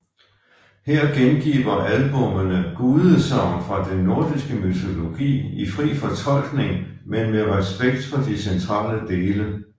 Her gengiver albummene gudesagn fra den nordiske mytologi i fri fortolkning men med respekt for de centrale dele